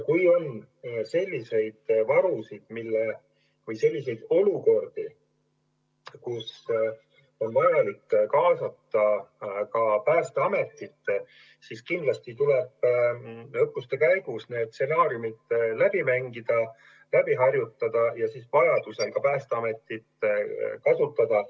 Kui on selliseid varusid või selliseid olukordi, kus on vaja kaasata Päästeametit, siis kindlasti tuleb õppuste käigus need stsenaariumid läbi mängida, läbi harjutada ja vajadusel ka Päästeametit kasutada.